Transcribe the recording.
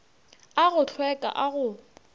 a go hlweka a go